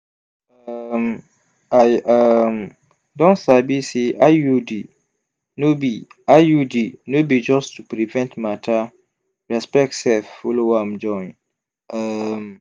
um i um don sabi say iud no be iud no be just to prevent matter respect sef follow am join. um